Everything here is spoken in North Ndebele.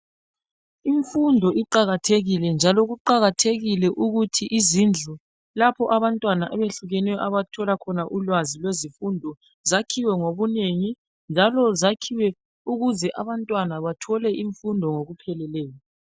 Imfundo iqakathekile njalo kuqakathekile ukuthi izindlu lapho abantwana abehlukeneyo abathola khona ulwazi lwezifundo zakhiwe ngobunengi njalo zakhiwe ukuze abantwana bathole imfundo ngokupheleleyo.